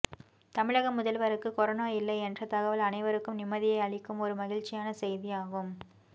தமிழக முதல்வருக்கு கொரோனா இல்லை என்ற தகவல் அனைவருக்கும் நிம்மதியை அளிக்கும் ஒரு மகிழ்ச்சியான செய்தி ஆகும்